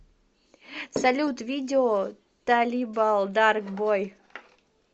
салют видео талибал дарк бой